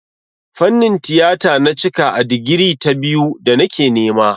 Fannin tiyata na cika a digiri ta biyu da nake nema.